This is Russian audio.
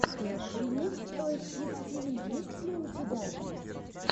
ремикс тойс кидс ти ви есть ли у тебя